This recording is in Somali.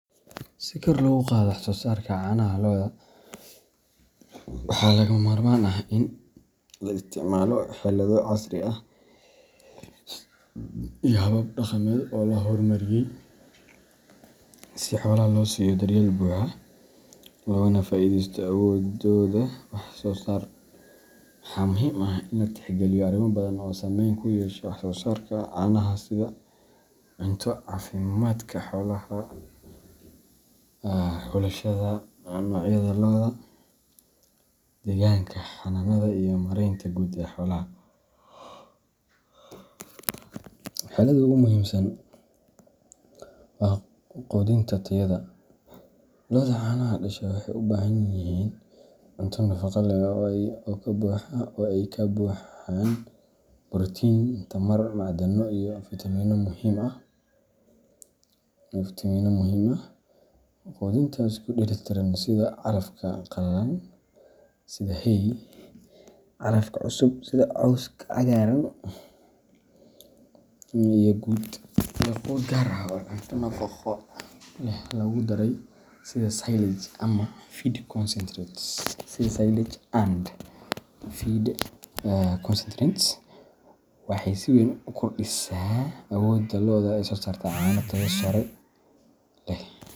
Si kor loogu qaado wax-soo-saarka caanaha lo’da, waxaa lagama maarmaan ah in la isticmaalo xeelado casri ah iyo habab dhaqameed oo la horumariyay, si xoolaha loo siiyo daryeel buuxa, loogana faa’iidaysto awooddooda wax-soo-saar. Waxaa muhiim ah in la tixgeliyo arrimo badan oo saameyn ku yeesha wax-soo-saarka caanaha sida cunto, caafimaadka xoolaha, xulashada noocyada lo’da, deegaanka xanaanada, iyo maaraynta guud ee xoolaha. Xeeladda ugu muhiimsan waa quudinta tayada leh. Lo’da caanaha dhasha waxay u baahan yihiin cunto nafaqo leh, oo ay ka buuxaan borotiin, tamar, macdano iyo fiitamiino muhiim ah. Quudinta isku dheelitiran sida calafka qallalan sida hay, calafka cusub sida cawska cagaaran, iyo quud gaar ah oo cunto nafaqo leh lagu daray sida silage and feed concentrates waxay si weyn u kordhisaa awoodda lo’da ee soo saarista caano tayo sare leh.